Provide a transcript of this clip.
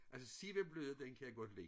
Altså Sevablødda den kan jeg godt lide